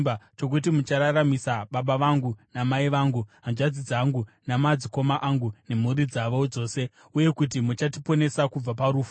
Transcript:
chokuti muchararamisa baba vangu namai vangu, hanzvadzi dzangu namadzikoma angu, nemhuri dzavo dzose, uye kuti muchatiponesa kubva parufu.”